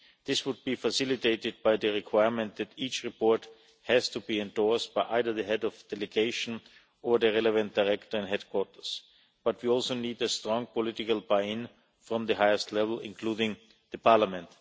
This would be facilitated by the requirement that each report has to be endorsed by either the Head of Delegation or the relevant Director and headquarters. We also need a strong political buy in from the highest level, including Parliament.